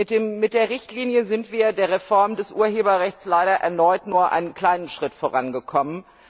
Mit der Richtlinie sind wir bei der Reform des Urheberrechts leider erneut nur einen kleinen Schritt vorangekommen.